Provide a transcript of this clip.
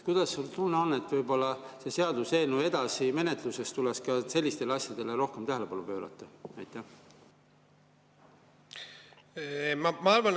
Kuidas tunne on, kas võiks selle seaduseelnõu edasises menetluses ka sellistele asjadele rohkem tähelepanu pöörata?